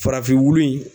Farafin wolo in